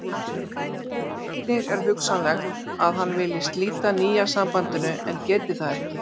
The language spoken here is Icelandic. Einnig er hugsanlegt að hann vilji slíta nýja sambandinu en geti það ekki.